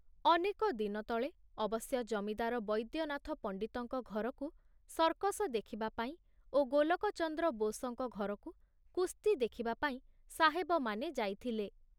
ଅନେକ ଦିନ ତଳେ ଅବଶ୍ୟ ଜମିଦାର ବୈଦ୍ୟନାଥ ପଣ୍ଡିତଙ୍କ ଘରକୁ ସର୍କସ ଦେଖିବା ପାଇଁ ଓ ଗୋଲକଚନ୍ଦ୍ର ବୋଷଙ୍କ ଘରକୁ କୁସ୍ତି ଦେଖିବାପାଇଁ ସାହେବମାନେ ଯାଇଥିଲେ।